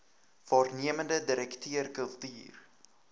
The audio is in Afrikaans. waarnemende direkteur kultuur